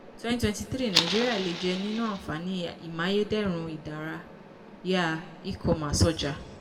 twenty twenty three nàìjíríà lè jẹ nínú àǹfààní imáyédẹrùn ìdára yá e-commerce ọjà.